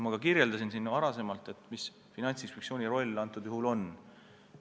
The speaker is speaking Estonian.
Ma juba selgitasin, milles Finantsinspektsiooni roll sel juhul seisneb.